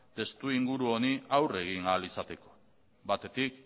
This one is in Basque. testu inguru honi aurre egin ahal izateko batetik